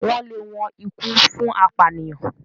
wón lè wón ikú fún apànìyàn.